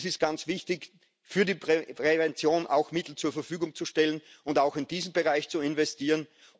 Es ist ganz wichtig, auch für die Prävention Mittel zur Verfügung zu stellen und auch in diesen Bereich zu investieren.